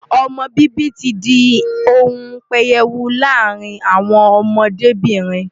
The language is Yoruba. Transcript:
Ọmọ bíbí ti di ohun pẹyẹwu láàárín àwọn ọmọdébìnrin.